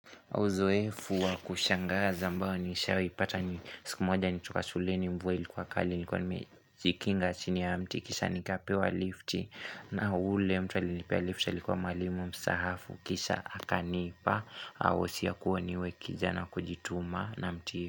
Uzoefu wa kushangaza ambao nishawaipata ni siku moja nikiwa shuleni mvua ilikua kali nilikua nimejikinga chini ya mti kisha nikapewa lifti na ule mtu alinipea lifti alikua malimu mstaafu kisha akanipa wosia kua niwe kijana wa kujituma na mti.